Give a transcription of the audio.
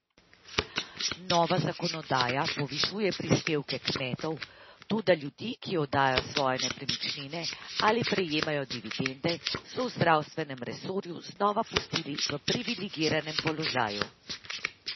Nova zakonodaja povišuje prispevke kmetov, toda ljudi, ki oddajajo svoje nepremičnine ali prejemajo dividende, so v zdravstvenem resorju znova pustili v privilegiranem položaju.